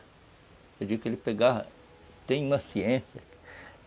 Eu digo que ele pegava... Tem uma ciência.